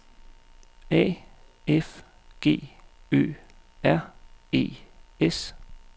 A F G Ø R E S